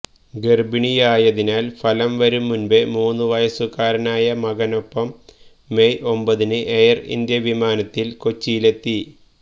ഗർഭിണിയായതിനാൽ ഫലം വരും മുൻപേ മൂന്ന് വയസുകാരനായ മകനൊപ്പം മെയ് ഒമ്പതിന് എയർ ഇന്ത്യ വിമാനത്തിൽ കൊച്ചിയിലെത്തി